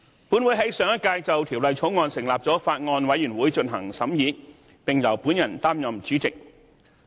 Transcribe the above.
本會在上屆就《條例草案》成立了法案委員會進行審議，並由我擔任主席。